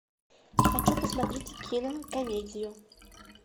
хочу посмотреть кинокомедию